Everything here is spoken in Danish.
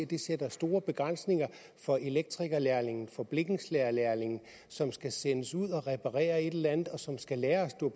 det sætter store begrænsninger for elektrikerlærlinge for blikkenslagerlærlinge som skal sendes ud at reparere et eller andet og som skal lære at